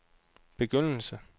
begyndelse